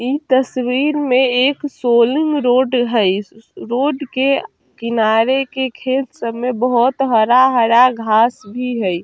इ तस्वीर में एक सोलिंग रोड है रोड के किनारे के खेत सब में बहुत हरा-हरा घास भी हई।